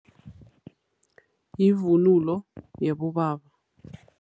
Yivunulo yaboba.